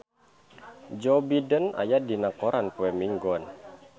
Joe Biden aya dina koran poe Minggon